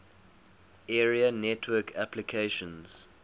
area network applications